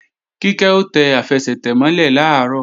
Kíkẹ́ ó tẹ àfẹsẹ̀tẹ̀ mọ́ lẹ̀ làárọ̀